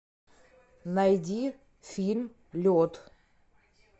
найди фильм лед